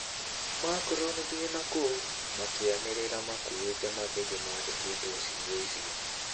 "Macron, thie nakou" makianiriraa makuĩte mathĩgĩ maandikĩtwo ciugo icio